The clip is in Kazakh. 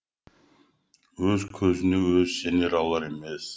өз көзіне өзі сене алар емес